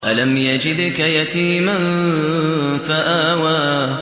أَلَمْ يَجِدْكَ يَتِيمًا فَآوَىٰ